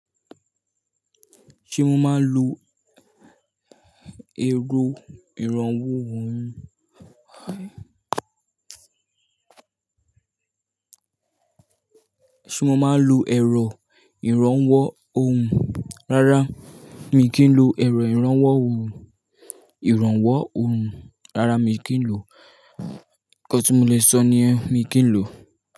Ṣé mo máa ń lo èrò ìrànwọ́ ohùn? Rárá, mi kì í lo èrò ìrànwọ́ ohùn, ìrànwọ́ ohùn. Rárá, mi kì í lò. Nǹkan tí mo le sọ ni yen mi kì í lò.